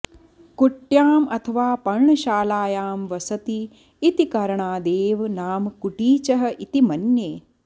कुट्याम् अथवा पर्णशालायां वसति इति करणादेव नाम कुटीचः इति मन्ये